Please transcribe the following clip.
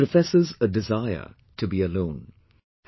" He professes a desire to be alone